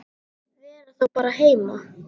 Vera þá bara heima?